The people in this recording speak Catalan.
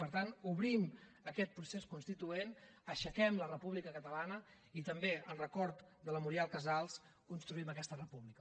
per tant obrim aquest procés constituent aixequem la república catalana i també en record de la muriel casals construïm aquesta república